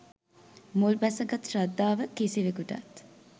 මුල්බැසගත් ශ්‍රද්ධාව කිසිවෙකුටත්